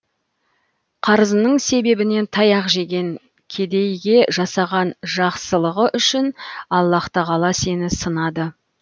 қарызының себебінен таяқ жеген кедейге жасаған жақсылыған үшін аллаһу тағала сені сынады